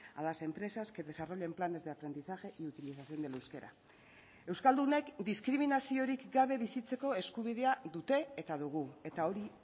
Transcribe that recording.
a las empresas que desarrollen planes de aprendizaje y utilización del euskera euskaldunek diskriminaziorik gabe bizitzeko eskubidea dute eta dugu eta hori